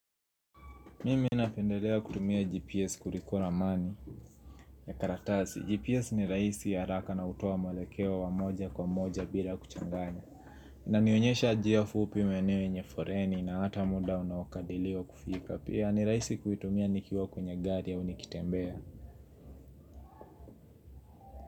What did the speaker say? Mimi napendelea kutumia GPS kuliko ramani ya karatasi. GPS ni rahisi haraka na hutoa mwelekeo wa moja kwa moja bila kuchanganya. Inanionyesha njia fupi maeneo yenye foreni na hata muda unaokadiliwa kufika. Pia ni rahisi kuitumia nikiwa kwenye gari ya nikitembea.